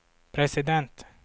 president